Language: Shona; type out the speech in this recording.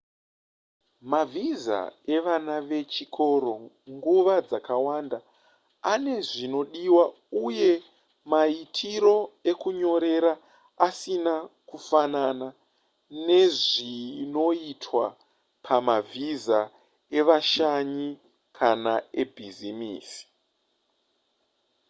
mavhiza evana vechikoro nguva dzakawanda ane zvinodiwa uye maitiro ekunyorera asina kufanana nezvinoitwa pamavhisa evashanyi kana ebhizimisi